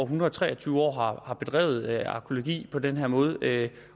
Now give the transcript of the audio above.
hundrede og tre og tyve år bedrevet arkæologi på den her måde